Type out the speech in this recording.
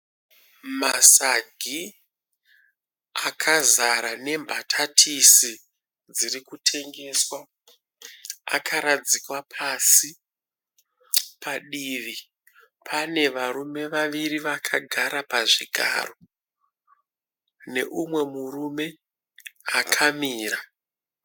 Masagi akazara nembatatisi dziri kutengeswa akaradzikwa pasi. Padivi pane varume vaviri vakagara pazvigaro neumwe murume akamira.